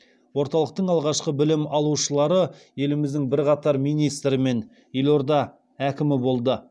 орталықтың алғашқы білім алушылары еліміздің бірқатар министрі мен елорда әкімі болды